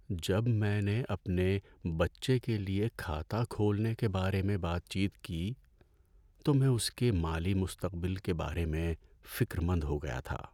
جب میں نے اپنے بچے کے لیے کھاتہ کھولنے کے بارے میں بات چیت کی تو میں اس کے مالی مستقبل کے بارے میں فکرمند ہو گیا تھا۔